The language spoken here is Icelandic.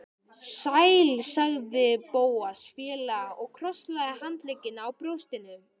Sæll sagði Bóas fálega og krosslagði handleggina á brjóstinu.